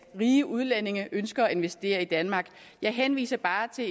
rige udlændinge ønsker at investere i danmark jeg henviser bare til at